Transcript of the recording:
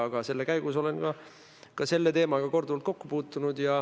Ent selle käigus olen ka selle teemaga korduvalt kokku puutunud.